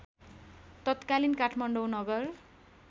तत्कालीन काठमाडौँ नगर